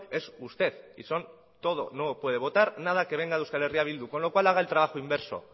es usted y son todo no puede votar nada que venga de euskal herria bildu con lo cual haga el trabajo inverso